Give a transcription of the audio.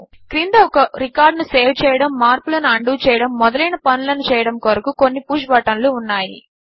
క్రింద ఒక రికార్డ్ ను సేవ్ చేయడము మార్పులను ఉండో చేయడము మొదలైన పనులను చేయడము కొరకు కొన్ని పుష్ బటన్లు ఉన్నాయి